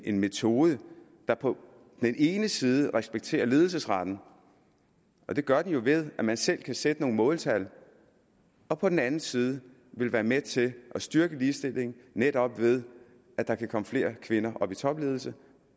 en metode der på den ene side respekterer ledelsesretten og det gør den jo ved at man selv kan sætte nogle måltal og på den anden side vil være med til at styrke ligestillingen netop ved at der kan komme flere kvinder i topledelsen